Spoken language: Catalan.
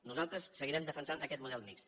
nosaltres seguirem defensant aquest model mixt